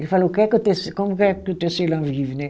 Ele falou, o que é que o tece, como é que o tecelão vive, né?